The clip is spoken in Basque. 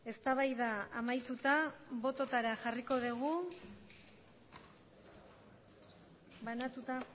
eztabaida amaituta botoetara jarriko dugu banatuta